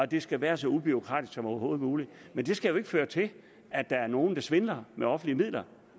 det skal være så ubureaukratisk som overhovedet muligt men det skal jo ikke føre til at der er nogle der svindler med offentlige midler